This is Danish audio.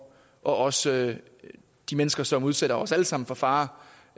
også de mennesker som udsætter os alle sammen for fare